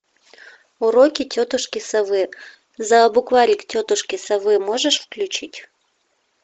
уроки тетушки совы за букварик тетушки совы можешь включить